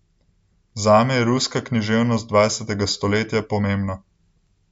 Zame je ruska književnost dvajsetega stoletja pomembna.